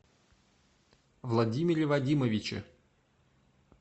владимире вадимовиче